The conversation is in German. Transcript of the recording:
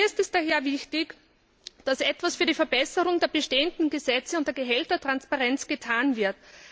Mir ist es daher wichtig, dass etwas für die Verbesserung der bestehenden Gesetze und dieGehältertransparenz getan wird.